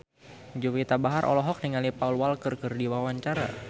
Juwita Bahar olohok ningali Paul Walker keur diwawancara